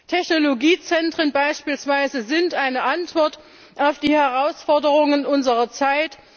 Technologiezentren sind beispielsweise eine Antwort auf die Herausforderungen unserer Zeit.